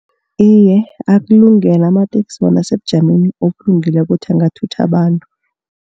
Iye, akulungele amateksi bona asebujameni obulungileko bona angathutha abantu.